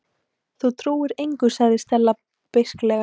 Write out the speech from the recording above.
Þú trúir engu- sagði Stella beisklega.